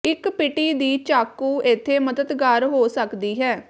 ਇੱਕ ਪਿਟੀ ਦੀ ਚਾਕੂ ਇੱਥੇ ਮਦਦਗਾਰ ਹੋ ਸਕਦੀ ਹੈ